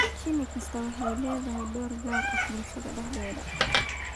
Shinni kastaa waxay ku leedahay door gaar ah bulshadeeda dhexdeeda.